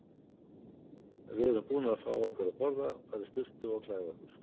Við erum búnar að fá okkur að borða, fara í sturtu og klæða okkur.